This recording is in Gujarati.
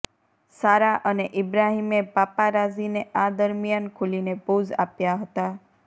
સારા અને ઈબ્રાહિમે પાપારાઝીને આ દરમિયાન ખૂલીને પોઝ આપ્યા હતા